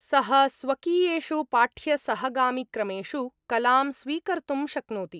सः स्वकीयेषु पाठ्यसहगामिक्रमेषु कलां स्वीकर्तुं शक्नोति।